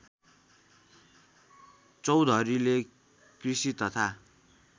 चौधरीले कृषि तथा